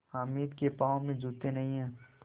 हामिद के पाँव में जूते नहीं हैं